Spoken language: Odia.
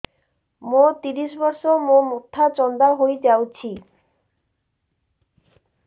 ମୋ ତିରିଶ ବର୍ଷ ମୋ ମୋଥା ଚାନ୍ଦା ହଇଯାଇଛି